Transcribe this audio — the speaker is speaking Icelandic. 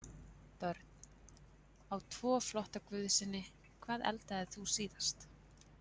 Börn: Á tvo flotta guðsyni Hvað eldaðir þú síðast?